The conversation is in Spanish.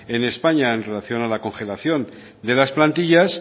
en españa en relación con la congelación de las plantillas